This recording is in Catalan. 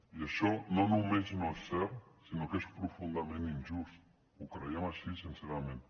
i això no només no és cert sinó que és profundament injust ho creiem així sincerament